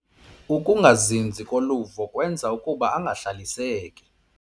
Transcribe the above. Ukungazinzi koluvo kwenza ukuba angahlaliseki.